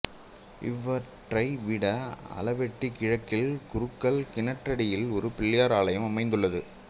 இவற்றை விட அளவெட்டி கிழக்கில் குருக்கள் கிணற்றடியிலும் ஒரு பிள்ளையார் ஆலயம் அமைந்துள்ளது